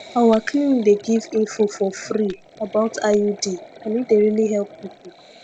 our clinic dey give info for free about iud and e dey really help people